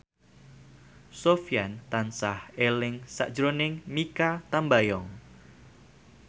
Sofyan tansah eling sakjroning Mikha Tambayong